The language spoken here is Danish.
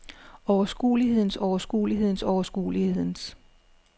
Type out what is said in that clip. overskuelighedens overskuelighedens overskuelighedens